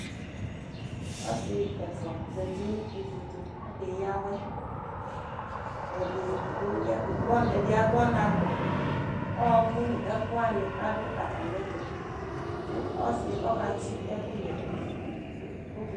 Asi ɛfua zati nʋ ivutu Akeyawɛ ɛdi gbɔ, ɛdi agbɔ ɔnakɔƆɔɔkʋ nu ɛkʋwani ɔdʋ atamiɛtu Kʋ ɔsiɛ ɔkatsi ɛkʋyɛ Bɔkiti